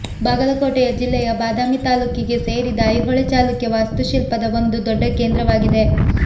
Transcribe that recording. ಬಾಗಲಕೋಟೆ ಜೆಲ್ಲೆಯ ಬಾದಾಮಿ ತಾಲ್ಲೂಕಿಗೆ ಸೇರಿದ ಐಹೊಳೆ ಚಾಲುಕ್ಯ ವಾಸ್ತುಶಿಲ್ಪದ ಒಂದು ದೊಡ್ಡ ಕೇಂದ್ರವಾಗಿದೆ